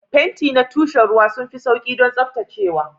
Fenti na tushen ruwa sun fi sauƙi don tsaftacewa.